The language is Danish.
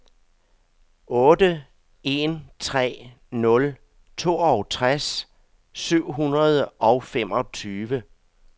otte en tre nul toogtres syv hundrede og femogtyve